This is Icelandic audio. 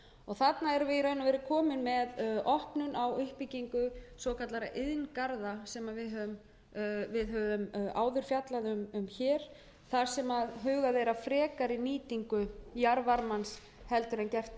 og veru komin með opnun á uppbyggingu svokallaðra iðngarða sem við höfum áður fjallað um hér þar sem hugað er að frekari nýtingu jarðvarmans heldur en gert er